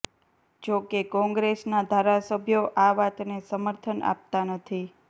જો કે કોંગ્રેસના ધારાસભ્યો આ વાતને સમર્થન આપતાં નથી